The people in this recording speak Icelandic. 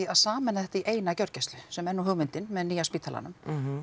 að sameina þetta í eina gjörgæslu sem er nú hugmyndin með nýja spítalanum